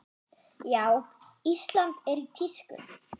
Já, Ísland er í tísku.